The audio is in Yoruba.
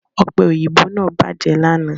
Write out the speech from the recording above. Ọ̀pẹ òyìnbó náà bàjẹ́ lánàá